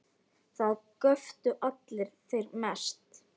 Það göptu allir, þeir mest.